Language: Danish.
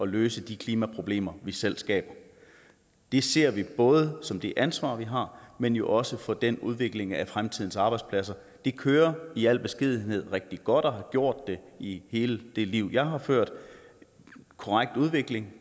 løse de klimaproblemer vi selv skaber det ser vi både som det ansvar vi har men jo også for den udvikling af fremtidens arbejdspladser det kører i al beskedenhed rigtig godt og har gjort det i hele det liv jeg har ført en korrekt udvikling